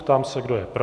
Ptám se, kdo je pro.